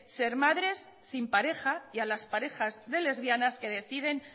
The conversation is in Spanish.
ser madres sin pareja y a las parejas de lesbianas que deciden